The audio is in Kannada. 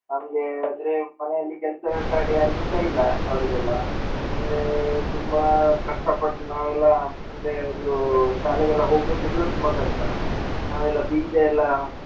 ನಮ್ಗೆ ಅಂದ್ರೆ ಮನೆಯಲ್ಲಿ ಕೆಲ್ಸ ಯಾರಿಗ ಇಷ್ಟಾ ಅವರಿಗೆಲ್ಲ ಅಂದ್ರೆ ತುಂಬಾ ಕಷ್ಟಪಟ್ಟು ನಾವೆಲ್ಲ ಅಂದ್ರೆ ಒಂದು ಶಾಲೆಗೆಲ್ಲ ಹೋಗಬೇಕಿದ್ರು ತುಂಬಾ ಕಷ್ಟ ನಾವೆಲ್ಲಾ ಬೀಜ ಎಲ್ಲಾ .